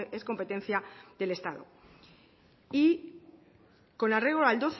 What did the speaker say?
es competencia del estado con arreglo del